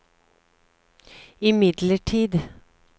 imidlertid